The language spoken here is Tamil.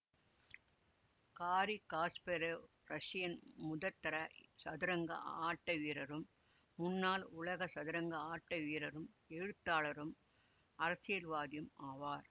காரி காஸ்பரொவ் ரஷ்யாவின் முதற்தர சதுரங்க ஆட்டவீரரும் முன்னாள் உலக சதுரங்க ஆட்ட வீரரும் எழுத்தாளரும் அரசியல்வாதியும் ஆவார்